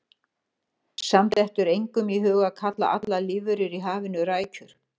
Samt dettur engum í hug að kalla allar lífverur í hafinu rækjur.